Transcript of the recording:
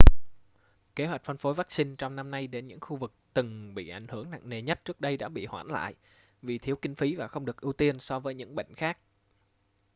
kế hoạch phân phối vắc-xin trong năm nay đến những khu vực từng bị ảnh hưởng nặng nề nhất trước đây đã bị hoãn lại vì thiếu kinh phí và không được ưu tiên so với những bệnh khác